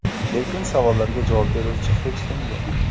Lekin savollarga javob beruvchi hech kim yo‘q.